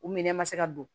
U minɛ ma se ka don